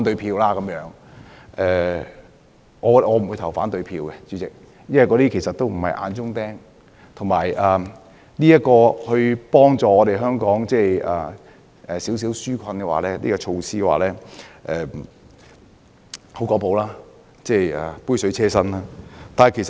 主席，我不會投反對票，因為這些人並不是眼中釘，而且這項幫助香港紓困的小措施，其實只是有比沒有好、杯水車薪。